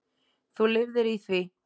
Þú lifðir því.